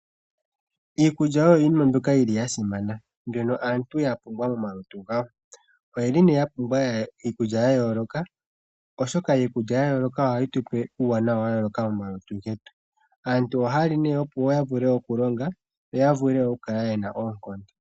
Iikulya oyo iinima mbyoka yili ya simana, mbyono aantu ya pumbwa momalutu gawo. Oyeli nee ya pumbwa iikulya ya yooloka oshoka iikulya ya yooloka ohayi tupe uuwanawa wa yooloka momalutu getu. Aantu ohaya li nee opo ya vule okulonga yo ya vule oku kala yena oonkondo.